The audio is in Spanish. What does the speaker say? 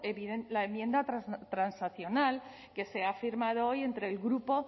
la enmienda transaccional que se ha firmado hoy entre el grupo